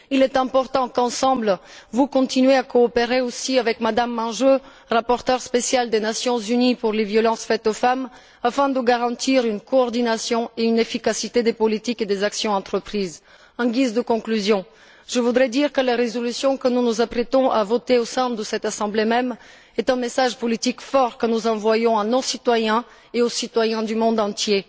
Il est important qu'ensemble, vous continuiez à coopérer aussi avec Mme Manjoo, rapporteure spéciale des Nations unies pour les violences faites aux femmes, afin de garantir la coordination et l'efficacité des politiques et des actions entreprises. En guise de conclusion, je voudrais dire que la résolution que nous nous apprêtons à voter au sein de cette Assemblée même est un message politique fort que nous envoyons à nos citoyens et aux citoyens du monde entier.